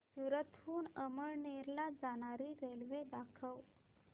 सूरत हून अमळनेर ला जाणारी रेल्वे दाखव